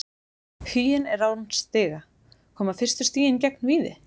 Huginn er án stiga, koma fyrstu stigin gegn Víði?